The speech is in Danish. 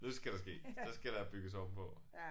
Nu skal det ske så skal der bygges ovenpå